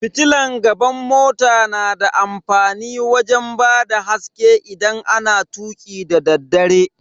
Fitilan gaban mota na da amfani wajen bada haske idan ana tuki dadaddare.